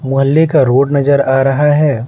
मोहल्ले का रोड नजर आ रहा है।